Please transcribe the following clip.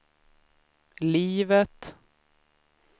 livet